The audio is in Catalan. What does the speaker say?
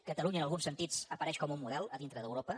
catalunya en alguns sentits apareix com un model a dintre d’europa